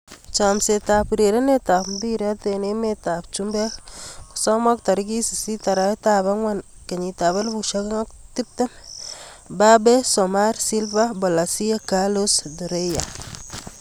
Chomset ab urerenet ab mbiret eng emet ab chumbek kosomok 08.04.2020: Mbappe, Soumare, Silva, Bolasie, Carlos, Torreira.